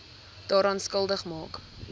daaraan skuldig maak